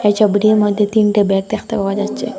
এই ছবিটির মইধ্যে তিনটে ব্যাগ দেখতে পাওয়া যাচ্ছে।